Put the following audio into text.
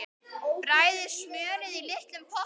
Bræðið smjörið í litlum potti.